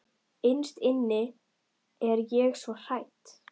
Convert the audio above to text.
Innst inni er ég svo hrædd.